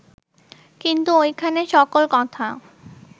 কিন্তু ঐখানে সকল কথা